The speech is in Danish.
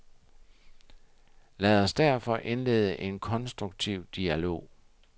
Lad os derfor indlede en konstruktiv dialog.